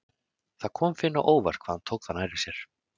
Það kom Finni á óvart hvað hann tók það nærri sér.